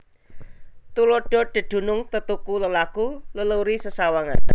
Tuladha dedunung tetuku lelaku leluri sesawangan